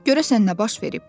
Görəsən nə baş verib?